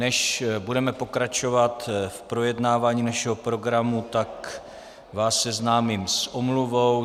Než budeme pokračovat v projednávání našeho programu, tak vás seznámím s omluvou.